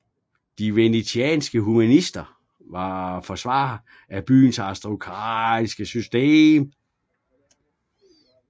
De venetianske humanister var forsvarere af byens aristokratiske system